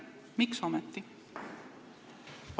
Miks ometi?